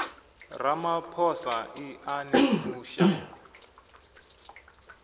ramaphosa i a ni fusha